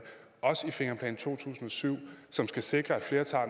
og i fingerplan to tusind og syv som skal sikre at flere tager